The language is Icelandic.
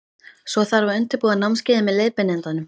Svo þarf að undirbúa námskeiðið með leiðbeinandanum.